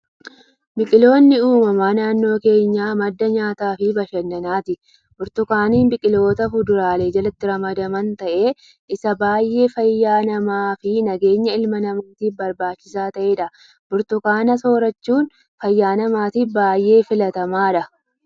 Biqiloonni uumamaa naannoo keenyaa madda nyaataa fi bashannanaati. Burtukaanni biqiloota fuduraalee jalatti ramadaman ta'ee isa baayyee fayyaa namaa fi nageenya ilma namaatiif barbaachisaa ta'edha. Burtukaana soorrachuun fayyaa namaatiif baayyee filatamaadha.